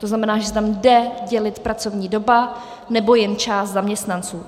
To znamená, že se tam jde dělit pracovní doba nebo jen část zaměstnanců.